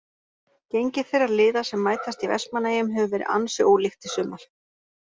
Gengi þeirra liða sem mætast í Vestmannaeyjum hefur verið ansi ólíkt í sumar.